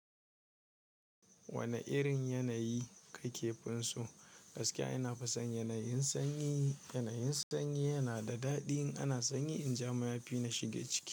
Wane irin yanayi kake funso? Gaskiya ina fa son yanayin sanyi. Yanayin sanyi yana da daɗi. Ana sanyi in ja mayafi na shige ciki.